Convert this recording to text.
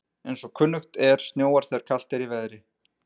Eins og kunnugt er snjóar þegar kalt er í veðri.